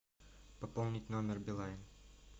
пополнить номер билайн